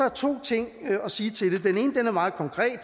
er to ting at sige til det den ene er meget konkret